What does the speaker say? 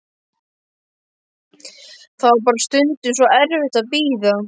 Það var bara stundum svo erfitt að bíða.